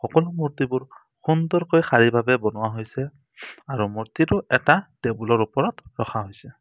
সকলো মূৰ্তিবোৰ সুন্দৰকৈ শাৰী ভাৱে বনোৱা হৈছে আৰু মূৰ্তিটো এটা টেবুলৰ ওপৰত ৰখা হৈছে।